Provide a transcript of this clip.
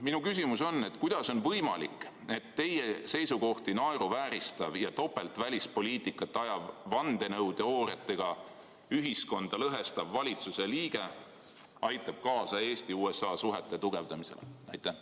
Minu küsimus on: kuidas on võimalik, et teie seisukohti naeruvääristav ja topeltvälispoliitikat ajav, vandenõuteooriatega ühiskonda lõhestav valitsuse liige aitab kaasa Eesti-USA suhete tugevdamisele?